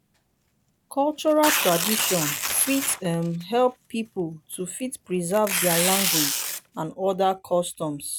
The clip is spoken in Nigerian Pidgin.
cultural tradition fit um help pipo to fit preserve their language and oda customs